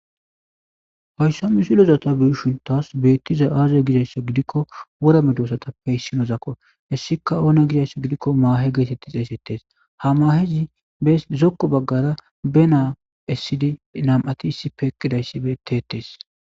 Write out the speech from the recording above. hayssa misileza ta beyishin tas beettizay aaze gizayssa gidikko wora medosatappe hissinozakko hessika oone gizayssa gidikko maahe geetetti xeeysettes ha mahezi be zokko baggara be naa essidi nam7ati issippe eqidayssi beteetees